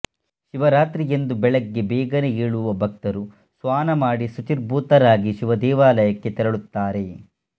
ಶಿವರಾತ್ರಿಯಂದು ಬೆಳಗ್ಗೆ ಬೇಗನೆ ಏಳುವ ಭಕ್ತರು ಸ್ವಾನ ಮಾಡಿ ಶುಚಿರ್ಭೂತರಾಗಿ ಶಿವದೇವಾಲಯಕ್ಕೆ ತೆರಳುತ್ತಾರೆ